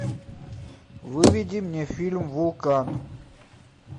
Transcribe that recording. выведи мне фильм вулкан